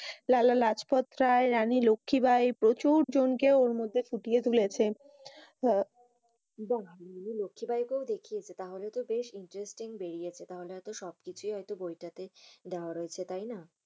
লালা রাজ পত রায়, লক্ষী ভাই প্রচুর জনকে এর মধ্যে পুঁটিয়ে তুলেছে। আহ বাহ ওখানে লক্ষী ভাইকে ও দেখানো হয়েছে? তাহলেতো বেশ Interesting বেড়িয়েছে। তাহলে এত সব কিছু বইটাতে দেওয়া রইছে তাই না?